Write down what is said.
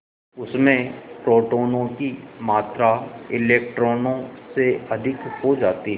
उसमें प्रोटोनों की मात्रा इलेक्ट्रॉनों से अधिक हो जाती है